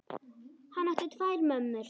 Hann átti tvær mömmur.